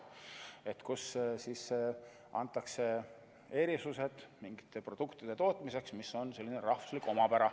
Antakse erisused mingite produktide tootmiseks, mis on selline rahvuslik omapära.